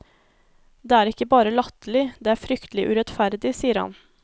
Det er ikke bare latterlig, det er fryktelig urettferdig, sier han.